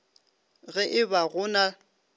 ge e ba go na